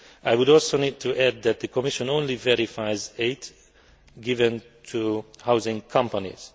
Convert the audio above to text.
I would also need to add that the Commission only verifies aid given to housing companies.